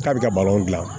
K'a bɛ ka balon